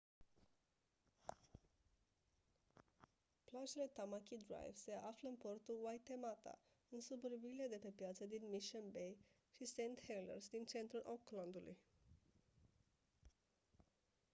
plajele tamaki drive se află în portul waitemata în suburbiile de pe piață din mission bay și st heliers din centrul auckland-ului